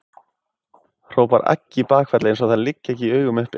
hrópar Aggi í bakfalli eins og það liggi ekki í augum uppi.